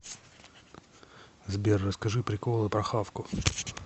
сбер расскажи приколы про хавку